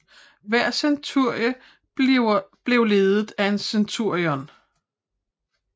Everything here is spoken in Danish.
Hver centurie blev ledet af en centurion